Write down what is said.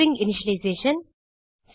string initialization